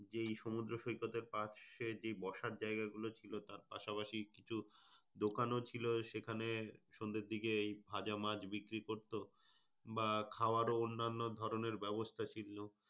যেই সমুদ্র সৈকতের পাশে যে বসার জায়গা ছিল তার পাশাপাশি কিছু দোকানে ছিল সেখানে সন্ধ্যার দিকে এই ভাজা মাছ বিক্রি করতো। বা খাওয়ার অন্যান্য ধরনের ব্যবস্থা ছিল।